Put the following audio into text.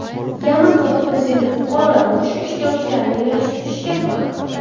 Yaman sobiq prezidenti fuqarolar urushi ishtirokchilarini yarashtirishga qaror qildi.